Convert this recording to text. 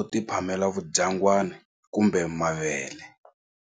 u ti phamela vudyangwani kumbe mavele.